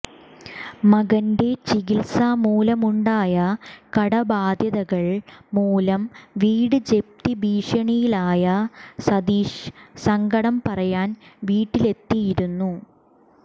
മകന്റെ ചികിത്സ മൂലമുണ്ടായ കടബാധ്യതകൾ മൂലം വീട് ജപ്തി ഭീഷണിയിലായ സതീഷ് സങ്കടം പറയാൻ വീട്ടിലെത്തിയിരുന്നു